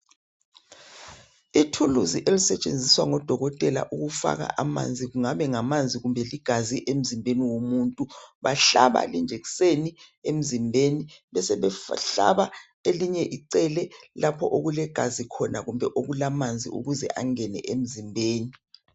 Ithuluzi elisetshenziswa ngodokotela ukufaka amanzi kungaba ngamanzi kumbe ligazi emzimbeni womuntu bahlaba ijekiseni emzimbeni besebe hlaba elinye icele lapho okule gazi khona kumbe amanzi ukuze angene emzimbeni.